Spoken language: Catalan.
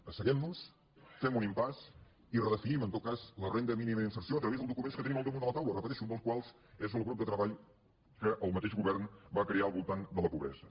asseguem nos fem un impàs i redefinim en tot cas la renda mínima d’inserció a través dels documents que tenim al damunt de la taula ho repeteixo un dels quals és del grup de treball que el mateix govern va crear al voltant de la pobresa